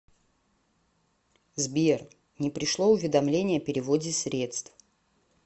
сбер не пришло уведомление о переводе средств